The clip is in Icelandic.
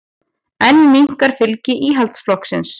Enn minnkar fylgi Íhaldsflokksins